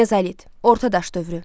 Mezalit, orta daş dövrü.